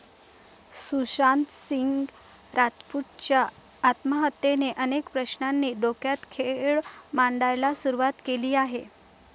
सुशांत सिंग राजपूतच्या आत्महत्येने अनेक प्रश्नांनी डोक्यात खेळ मांडायला सुरवात केली आहे.